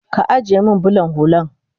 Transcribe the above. Ka ajiye min bulan hullan